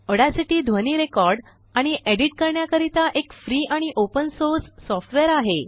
Audacity ध्वनि record आणिएडिट संपादन करण्याकरिताएक फ्री आणिओपन सोर्स सॉफ्टवेअर आहे